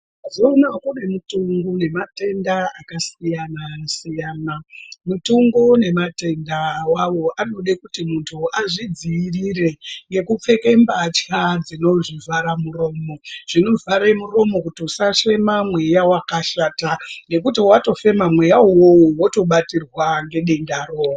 Mazuwa anaya kune mutongo nematenda akasiyana siyana mutongo nematenda awawo anode kuti muntu azvidzivirire nekupfeka mbatya zvinozvivhara muromo zvinovhara muromo kuti usafema mweya wakashata ngekuti watofema mweya uwowo wotobatirwa ngedendaro.